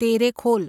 Terekhol